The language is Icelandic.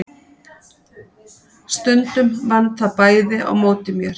Stundum vann það bæði á móti mér.